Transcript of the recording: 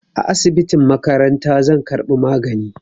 A asibitin makaranta zan karbi magani